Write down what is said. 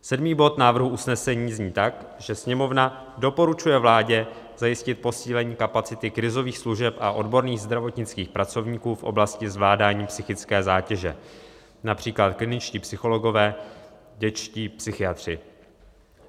Sedmý bod návrhu usnesení zní tak, že "Sněmovna doporučuje vládě zajistit posílení kapacity krizových služeb a odborných zdravotnických pracovníků v oblasti zvládání psychické zátěže, například kliničtí psychologové, dětští psychiatři."